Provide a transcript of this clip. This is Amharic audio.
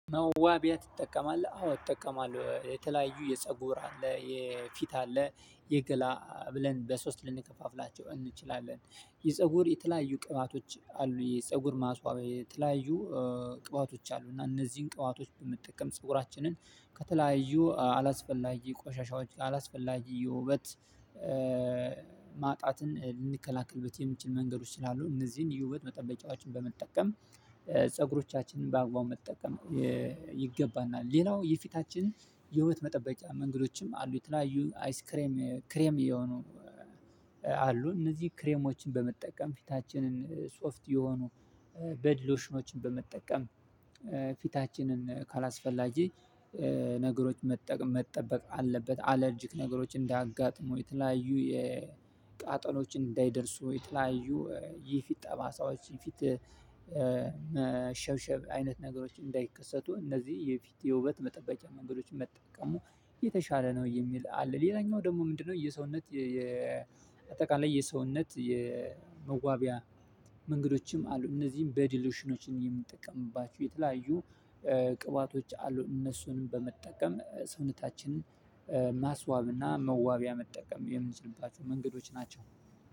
መዋቢያ ትጠቀማለህ? አዎ እጠቀማለሁ የተለያዩ የፀጉር አለ የፊት አለ የገላ ብለን በሶስት ልንከፋፍላቸው እንችላለን የፀጉር የተለያዩ ቅባቶች አሉ የፀጉር ማስዋቢያ የተለያዩ ቅባቶች አሉ እና እነዚህን ቅባቶች በመጠቀም ፀጉራችንን ከተለያዩ አላስፈላጊ ቆሻሻዎች አላስፈላጊ የውበት ማጣትን ልንከላከልበት የሚችል መንገዶች ስላሉ እነዚህን የውበት መጠበቂያዎችን በመጠቀም ፀጉሮቻችንን በአግባቡ መጠቀም ይገባናል። ሌላው የፊታችን የህይወት መጠበቂያ መንገዶችም አሉ። የተለያዩ አይስክሬም ክሬም የሆኑ አሉ እነዚህ ክሬሞችን በመጠቀም ፊታችንን ሶፍት የሆኑ ቦዲ ሎሽኖችን በመጠቀም ፊታችንን ካላስፈላጊ ነገሮች መጠቀም መጠበቅ አለበት። አለርጂክ ነገሮች እንዳያጋጥሙ የተለያዩ የቃጠሎችን እንዳይደርሱ የተለያዩ የፊት ጠባሳዎች የፊት ሸብሸብ አይነት ነገሮች እንዳይከሰቱ እነዚህ የፊት የውበት መጠበቂያ መንገዶችን መጠቀሙ የተሻለ ነው የሚል አለ። ሌላኛው ደግሞ ምንድነው? የሰውነት የአጠቃላይ የሰውነት የመዋቢያ መንገዶችም አሉ። እነዚህም ቦዲ ሎሽኖች የምንጠቀምባቸው የተለያዩ ቅባቶች አሉ እነሱንም በመጠቀም ሰውነታችንን ማስዋብና መዋቢያ መጠቀም የምንችልባቸው መንገዶች ናቸው።